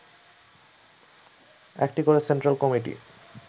একটি করে central committee